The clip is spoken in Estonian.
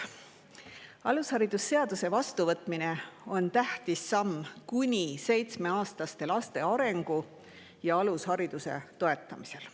Alusharidusseaduse vastuvõtmine on tähtis samm kuni seitsmeaastaste laste arengu ja alushariduse toetamiseks.